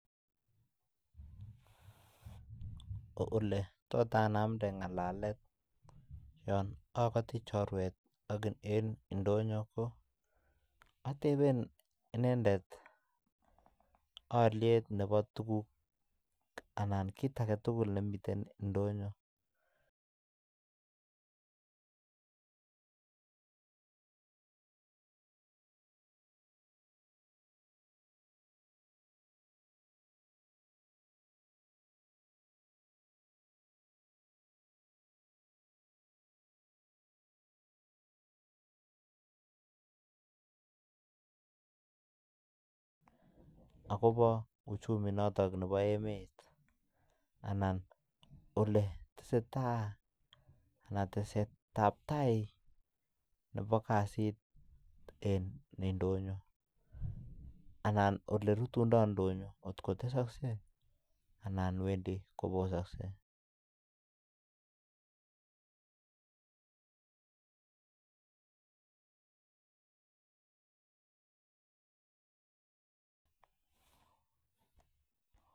Ole anamdai ngalalet yan akatii chorwet eng indonyo atebee aliet ab tuguk chemitei indonyoo akoboo teset ab tai neboo kasit eng indonyoo